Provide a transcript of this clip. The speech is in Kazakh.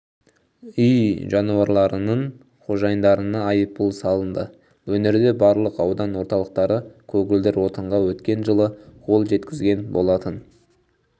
үй жануарларының қожайындарына айыппұл салынды өңірде барлық аудан орталықтары көгілдір отынға өткен жылы қол жеткізген болатын